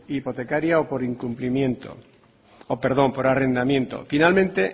hipotecaria o por arrendamiento finalmente